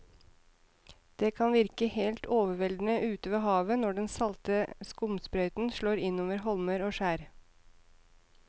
Det kan virke helt overveldende ute ved havet når den salte skumsprøyten slår innover holmer og skjær.